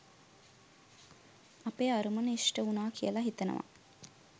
අපේ අරමුණ ඉෂ්ට උණා කියල හිතනවා.